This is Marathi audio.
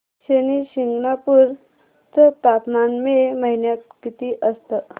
शनी शिंगणापूर चं तापमान मे महिन्यात किती असतं